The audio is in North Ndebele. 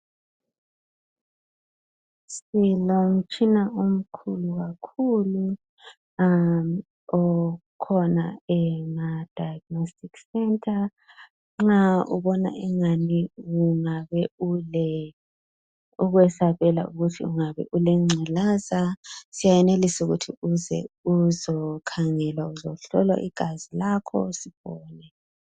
Silomtshina omkhulu kakhulu okhona ema diagnostic center nxa ubona engani ungabe ukwesabela ukuthi ungabe ulengculaza siyayenelisa ukuthi uze uzokhangelwa igazi lakho Sibone